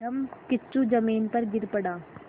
धम्मकिच्चू ज़मीन पर गिर पड़ा